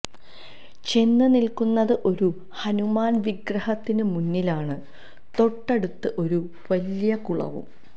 ചെന്ന് നില്ക്കുന്നത് ഒരു ഹനുമാന് വിഗ്രഹത്തിന് മുന്നിലാണ് തൊട്ടടുത്ത് ഒരു വലിയ കുളവും